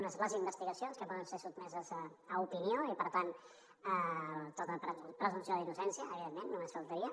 un és les investigacions que poden ser sotmeses a opinió i per tant tota la presumpció d’innocència evidentment només faltaria